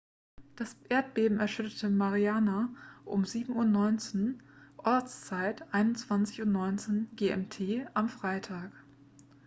das erdbeben erschütterte mariana um 07:19 uhr ortszeit 21:19 gmt am freitag